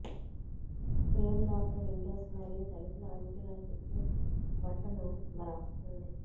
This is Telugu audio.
ఫ్రేమ్ లోపల విండోస్ మరియు తలుపుల అంచుల చుట్టూ బట్టను వ్రాస్తుంది